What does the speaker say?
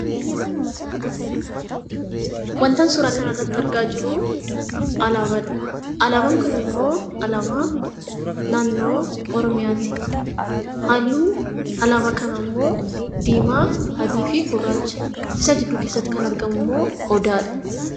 Wantan suuraa kanarratti argaa jiru, alaabaadha. Alaabaan kunimmoo alaabaa naannoo Oromiyaati. Halluun alaabaa kanaammoo diimaa, adii fi gurraacha. Isa gidduu keessatti kan argamummoo odaadha.